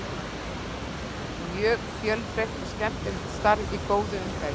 Mjög fjölbreytt og skemmtilegt starf í góðu umhverfi.